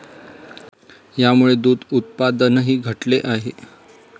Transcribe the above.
यामुळे दूध उत्पादनही घटले आहे.